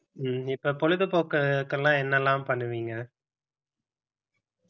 ஹம் இப்ப பொழுது போக்குக்கெல்லாம் என்னெல்லாம் பண்ணுவீங்க